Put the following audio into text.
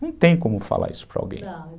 Não tem como falar isso para alguém